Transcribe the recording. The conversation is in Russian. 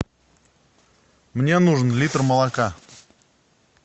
мне нужен литр молока